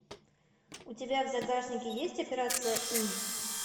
у тебя в загашнике есть операция ы